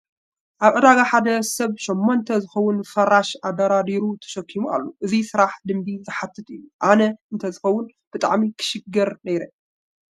ኣብ ዕዳጋ ሓደ ሰብ ሸሞንተ ዝኸውን ፍራሽ ኣደራሪቡ ተሸኪሙ ኣሎ፡፡ እዚ ስራሕ ልምዲ ዝሓትት እዩ፡፡ ኣነ እንተዝኸውን ብጣዕሚ ክሽገር ነይረ፡፡